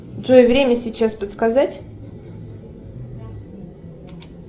джой время сейчас подсказать